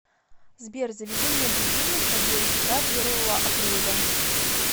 сбер заведи мне будильник на девять утра первого апреля